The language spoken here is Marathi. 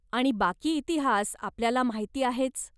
आणि बाकी इतिहास आपल्याला माहिती आहेच.